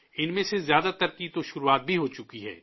ان میں سے زیادہ تر کی تو شروعات بھی ہو چکی ہے